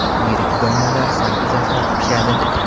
Yirik donalar sal uzoqroq pishadi.